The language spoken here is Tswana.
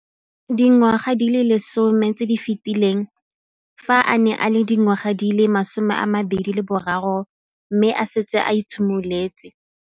Dingwaga di le 10 tse di fetileng, fa a ne a le dingwaga di le 23 mme a setse a itshimoletse.